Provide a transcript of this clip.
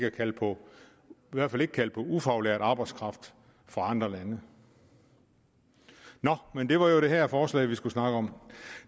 at kalde på ufaglært arbejdskraft fra andre lande nå men det var jo det her forslag vi skulle snakke om